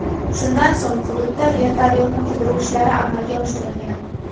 Shundan so‘ng, hududda vertolyotni qidiruv ishlari amalga oshirilgan.